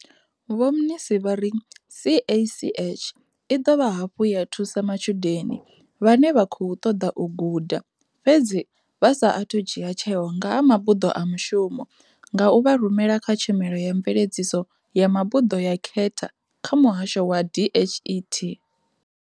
Vho Mnisi vha ri CACH i ḓovha hafhu ya thusa matshudeni vhane vha khou ṱoḓa u guda fhedzi vha sa athu dzhia tsheo nga ha mabuḓo a mushumo nga u vha rumela kha tshumelo ya mveledziso ya mabuḓo ya khetha kha muhasho wa DHET.